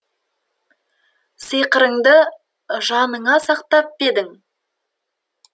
сиқырыңды жаныңа сақтап па едің